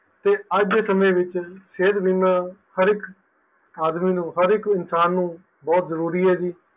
ਤੇ ਅੱਜ ਦੇ ਸਮੇ ਵਿੱਚ ਸਿਹਤ ਬੀਮਾ ਹਰ ਇੱਕ ਆਦਮੀ ਨੂੰ ਹਰ ਇੱਕ ਇਨਸਾਨ ਨੂੰ ਬਹੁਤ ਜ਼ਰੂਰੀ ਐ ਜੀ